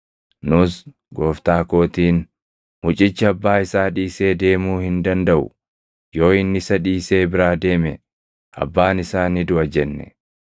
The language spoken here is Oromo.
Nus gooftaa kootiin, ‘Mucichi abbaa isaa dhiisee deemuu hin dandaʼu; yoo inni isa dhiisee biraa deeme abbaan isaa ni duʼa’ jenne.